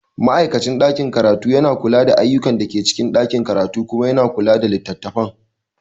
Ma'aikacin ɗakin karatu yana kula da ayyukan da ke cikin ɗakin karatu kuma yana kula da littattafan.